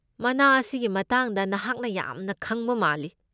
ꯃꯅꯥ ꯑꯁꯤꯒꯤ ꯃꯇꯥꯡꯗ ꯅꯍꯥꯛ ꯌꯥꯝꯅ ꯈꯪꯕ ꯃꯥꯜꯂꯤ꯫